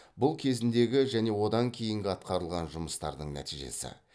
бұл кезіндегі және одан кейінгі атқарылған жұмыстардың нәтижесі